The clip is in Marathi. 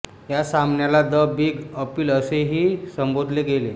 या सामन्याला द बीग अपील असे ही संबोधले गेले